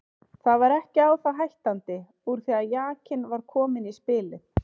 Það var ekki á það hættandi úr því að jakinn var kominn í spilið.